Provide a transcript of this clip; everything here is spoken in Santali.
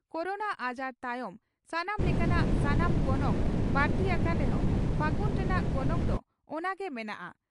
ᱠᱚᱨᱳᱱᱟ ᱟᱡᱟᱨ ᱛᱟᱭᱚᱢ ᱥᱟᱱᱟᱢ ᱞᱮᱠᱟᱱᱟᱜ ᱥᱟᱢᱟᱱ ᱜᱚᱱᱚᱝ ᱵᱟᱹᱲᱛᱤ ᱟᱠᱟᱱ ᱨᱮᱦᱚᱸ ᱯᱷᱟᱹᱜᱩᱱ ᱨᱮᱱᱟᱜ ᱜᱚᱱᱚᱝ ᱫᱚ ᱚᱱᱟ ᱜᱮ ᱢᱮᱱᱟᱜᱼᱟ ᱾